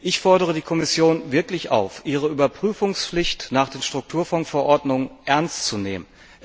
Ich fordere die Kommission wirklich auf, ihre Überprüfungspflicht nach den Strukturfondsverordnungen ernst zu nehmen.